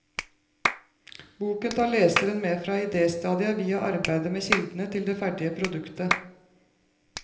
Boken tar leseren med fra idéstadiet, via arbeidet med kildene til det ferdige produktet.